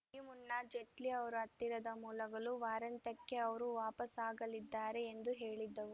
ಈ ಮುನ್ನ ಜೇಟ್ಲಿ ಅವರ ಹತ್ತಿರದ ಮೂಲಗಳು ವಾರಾಂತ್ಯಕ್ಕೆ ಅವರು ವಾಪಸಾಗಲಿದ್ದಾರೆ ಎಂದು ಹೇಳಿದ್ದವು